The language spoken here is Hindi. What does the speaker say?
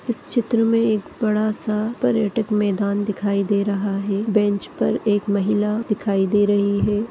इस चित्र मे एक बड़ा सा पर्यटक मैदान दिखाई दे रहा है बेंच पर एक महिला दिखाई दे रही है।